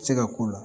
Se ka k'u la